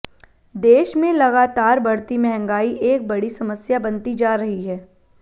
देश में लगातार बढ़ती महंगाई एक बड़ी समस्या बनती जा रही है